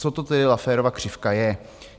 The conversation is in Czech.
Co to tedy Lafferova křivka je?